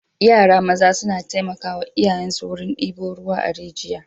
Yara maza suna taimakawa iyayensu wurin ɗebo ruwa a rijiya.